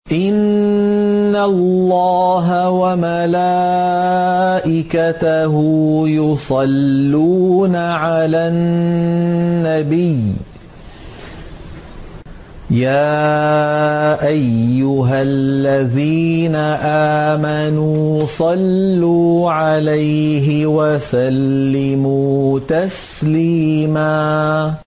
إِنَّ اللَّهَ وَمَلَائِكَتَهُ يُصَلُّونَ عَلَى النَّبِيِّ ۚ يَا أَيُّهَا الَّذِينَ آمَنُوا صَلُّوا عَلَيْهِ وَسَلِّمُوا تَسْلِيمًا